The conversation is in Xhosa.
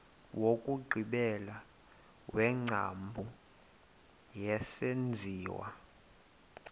wokugqibela wengcambu yesenziwa